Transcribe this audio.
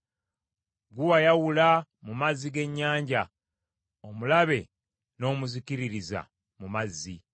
Ggwe wayawula mu mazzi g’ennyanja; omulabe n’omuzikiririza mu mazzi.